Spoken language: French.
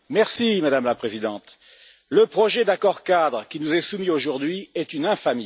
Madame la Présidente, le projet d'accord cadre qui nous est soumis aujourd'hui est une infamie.